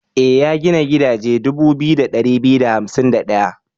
E, ya gina gidaje dubu 2251.